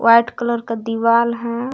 White colour का दीवाल है।